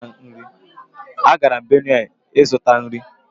Agara m Benue ịzụta nri